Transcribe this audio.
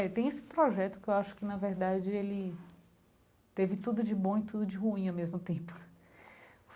É, tem esse projeto que eu acho que, na verdade, ele... Teve tudo de bom e tudo de ruim, ao mesmo tempo.